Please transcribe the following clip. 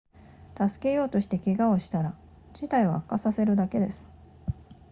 助けようとして怪我をしたら事態を悪化させるだけです